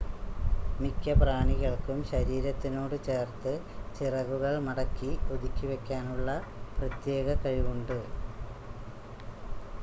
മിക്ക പ്രാണികൾക്കും ശരീരത്തിനോട് ചേർത്ത് ചിറകുകൾ മടക്കി ഒതുക്കി വെക്കാനുള്ള പ്രത്യേക കഴിവുണ്ട്